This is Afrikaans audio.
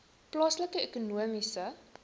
plaaslike ekonomiese